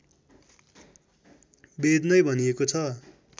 वेद नै भनिएको छ